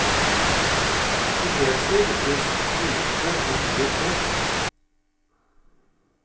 I fredstid ble skutene rigget ned.